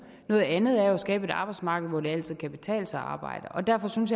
noget andet er jo at skabe et arbejdsmarked hvor det altid kan betale sig at arbejde derfor synes